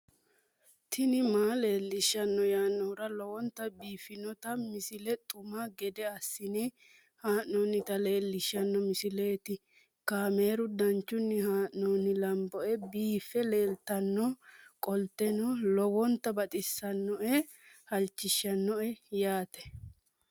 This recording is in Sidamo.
tini maa leelishshanno yaannohura lowonta biiffanota misile xuma gede assine haa'noonnita leellishshanno misileeti kaameru danchunni haa'noonni lamboe biiffe leeeltannoqolten lowonta baxissannoe halchishshanno yaate